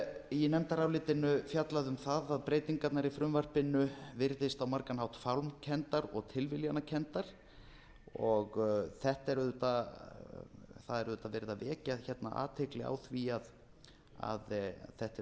í nefndarálitinu fjallað um það að breytingarnar í frumvarpinu virðist á margan hátt fálmkenndar og tilviljanakenndar það er auðvitað verið að vekja hérna athygli á því að þetta eru